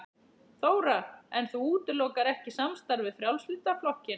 Þóra: En þú útilokar ekki samstarf við Frjálslynda flokkinn?